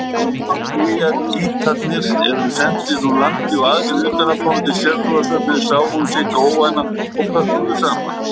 Babúítarnir voru sendir úr landi og aðrir utanaðkomandi sértrúarsöfnuðir sáu sitt óvænna og pökkuðu saman.